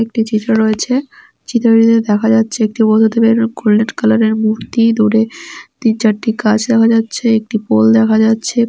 একটি চিত্র রয়েছে চিত্রটিতে দেখা যাচ্ছে একটি বৈধ দেবের গোল্ডেন কালার -এর মূর্তি | দূরে তিন চারটি গাছ দেখা যাচ্ছে একটি পোল দেখা যাচ্ছে ।